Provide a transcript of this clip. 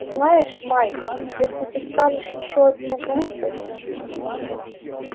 знаешь майк если ты скажешь ещё одну глупость